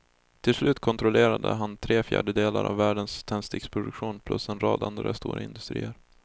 Till slut kontrollerade han tre fjärdedelar av världens tändsticksproduktion plus en rad andra stora industrier.